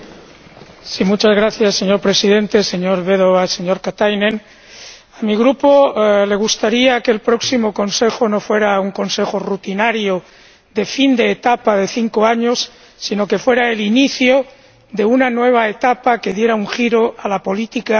Señor Presidente, señor Della Vedova, señor Katainen, a mi Grupo le gustaría que el próximo Consejo no fuera un consejo rutinario de fin de etapa de cinco años, sino que fuera el inicio de una nueva etapa que diera un giro a la política de la Unión Europea.